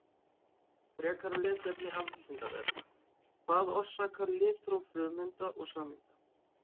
Frekara lesefni af Vísindavefnum: Hvað orsakar litróf frumeinda og sameinda?